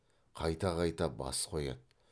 қайта қайта бас қояды